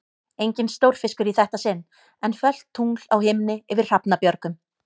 Enginn stórfiskur í þetta sinn, en fölt tungl á himni yfir Hrafnabjörgum.